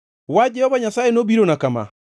Wach Jehova Nyasaye nobirona kama: